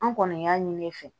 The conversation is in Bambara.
An kɔni y'a ɲini ne fɛ